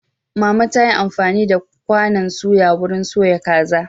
Mama ta yi amfani da kwanan suya wurin soya kaza.